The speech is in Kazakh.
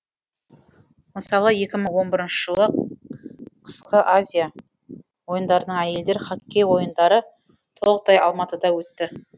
мысалы екі мың он бірінші жылы жылы қысқы азия ойындарының әйелдер хоккей ойындары толықтай алматыда өтті